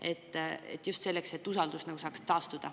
Seda just selleks, et usaldus saaks taastuda.